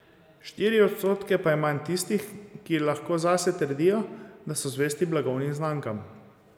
Štiri odstotke pa je manj tistih, ki lahko zase trdijo, da so zvesti blagovnim znamkam.